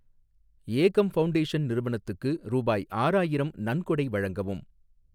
ஏகம் foundation நிறுவனத்துக்கு ரூபாய் ஆறாயிரம் நன்கொடை வழங்கவும்.